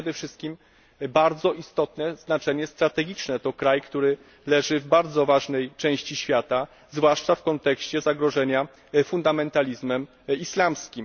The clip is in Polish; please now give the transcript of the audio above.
Ma to przede wszystkim bardzo istotne znaczenie strategiczne to kraj, który leży w bardzo ważnej części świata, zwłaszcza w kontekście zagrożenia fundamentalizmem islamskim.